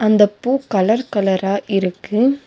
அந்தப் பூ கலர் கலரா இருக்கு.